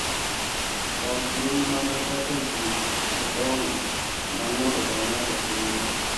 Ok gin mana kaka gik madongo ma ng’ato ka ng’ato timo .